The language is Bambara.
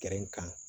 kan